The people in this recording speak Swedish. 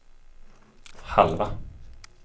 halva